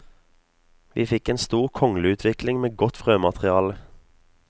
Vi fikk en stor kongleutvikling med godt frømateriale.